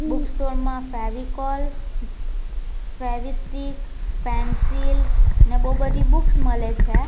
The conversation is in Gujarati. બુક સ્ટોર માં ફેવિકોલ ફેવીસ્ટિક પેન્સિલ અને બહુ બધી બુક્સ મળે છે.